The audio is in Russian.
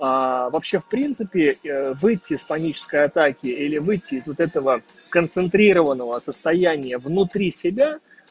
а вообще в принципе выйти из панической атаке или выйти из вот этого концентрированного состоянии внутри себя